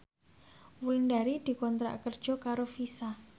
Wulandari dikontrak kerja karo Visa